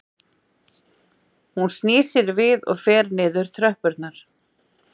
Hún snýr sér við og fer niður tröppurnar